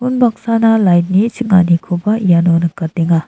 unbaksana lait ni ching·anikoba iano nikatenga.